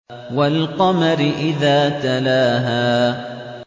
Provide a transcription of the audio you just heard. وَالْقَمَرِ إِذَا تَلَاهَا